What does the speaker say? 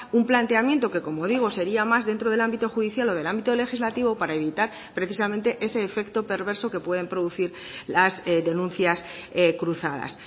un planteamiento que como digo sería más dentro del ámbito judicial o del ámbito legislativo para evitar precisamente ese efecto perverso que pueden producir las denuncias cruzadas